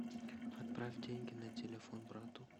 отправь деньги на телефон брату